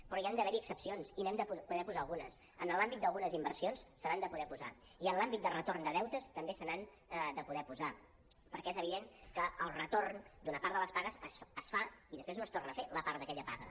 però hi han d’haver excepcions i n’hem de poder posar algunes en l’àmbit d’algunes inversions se n’han de poder posar i en l’àmbit de retorn de deutes també se n’han de poder posar perquè és evident que el retorn d’una part de les pagues es fa i després no es torna a fer la part d’aquella paga